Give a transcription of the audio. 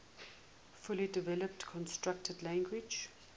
fully developed constructed language